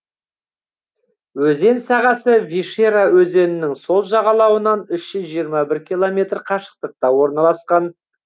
өзен сағасы вишера өзенінің сол жағалауынан үш жүз жиырма бір километр қашықтықта орналасқан